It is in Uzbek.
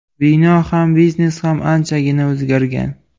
Bino ham, biznes ham anchagina o‘zgargan.